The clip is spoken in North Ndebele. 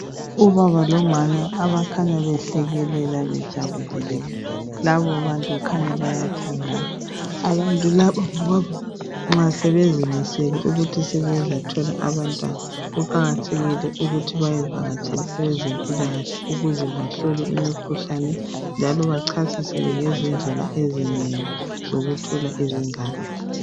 Ubaba lomama abakhanya behlekelela bejabulile labo bantu kukhanya bayathandana abantu laba nxa sebezimisele ukuthi sebezathola abantwana kuqakathekile ukuthi bayevakatshela abezempila kahle ukuze bahlole imikhuhlane njalo bachasiselwe ngezindlela ezinengi zokuthola izingane